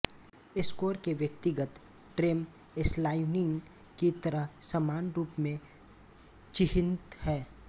score के व्यक्तिगत ट्रेम्स्लाइनिंग की तरह समान रूप में चिह्नित हैं